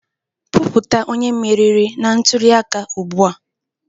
Kwupụta onye meriri na ntuli aka ugbu a